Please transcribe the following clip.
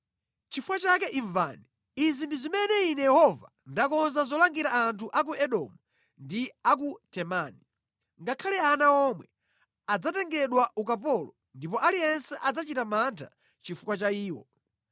Nʼchifukwa chake imvani. Izi ndi zimene Ine Yehova ndakonza zolangira anthu a ku Edomu ndi a ku Temani. Ngakhale ana omwe adzatengedwa ukapolo ndipo aliyense adzachita mantha chifukwa cha iwo.